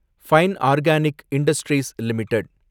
fine organic industries limited